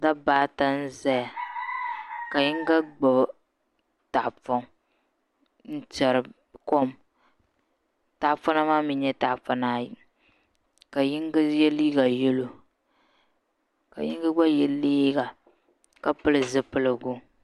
Dabba ata n ʒɛya ka yinga gbubi tahapoŋ n tiɛri kom tahapona maa mii nyɛla tahapona ayi ka yinga yɛ liiga yɛlo ka yinga gba yɛ liiga ka pili zipiligu